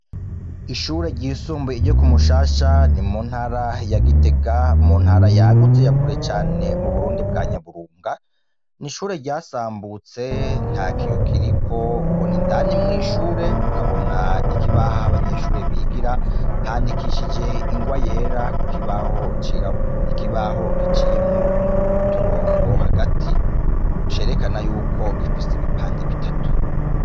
Ishure ryisumbuye ryo kumushasha ni muntara ya gitega, muntara yagutse yakure cane , m'uburundi bwa nyaburunga , n'ishure ryasambutse ,ntakiyo kiririko ubona indani mw'ishure, ukabona ikibaho ah'abanyeshure bigira , handikishije ingwa yera kukibaho cirabura, ikibaho giciyemwo uturongo hagati, vyerekana yuko gifise ibipande bitatu.